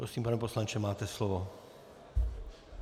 Prosím, pane poslanče, máte slovo.